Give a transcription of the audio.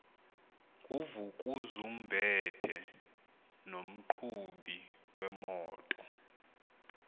nguvukuzumbethe nomqhubi wemoto